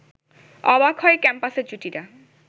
অবাক হয় ক্যাম্পাসের জুটিরা